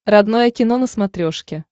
родное кино на смотрешке